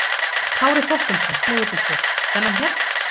Kári Þorsteinsson, leigubílstjóri: Þennan hérna?